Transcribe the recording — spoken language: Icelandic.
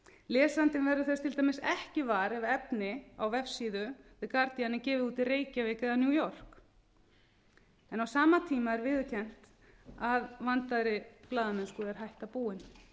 lesandinn verður þess til dæmis ekki var ef efni á vefsíðu the guardian er gefið út í reykjavík eða new york á sama tíma er viðurkennt að vandaðri blaðamennsku er hætta búin